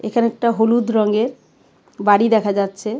এখানে একটা হলুদ রঙের বাড়ি দেখা যাচ্ছে .